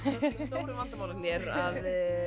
stóru vandamálin eru að